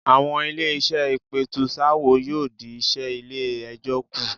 Àwọn ilé-iṣẹ́ ìpètùsááwọ̀ yóò dí iṣẹ́ ilé-ẹjọ́ kù.